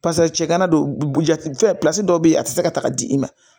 cɛ kana don butigi filɛ dɔw bɛ yen a tɛ se ka taga di i ma